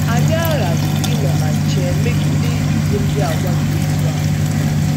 Anyị aghaghị ịnọ na nche megide ịbụ ndị àgwà dị otú ahụ metụtara.